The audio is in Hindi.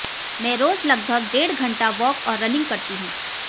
मैं रोज लगभग डेढ घंटा वॉक और रनिंग करती हूं